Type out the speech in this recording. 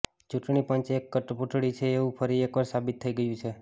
ચૂંટણી પંચ એક કઠપૂતળી છે એવું ફરી એકવાર સાબિત થઈ ગયું છે